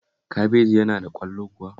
Kabeji yana da ƙwallo kuwa?